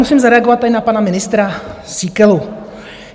Musím zareagovat tady na pana ministra Síkelu.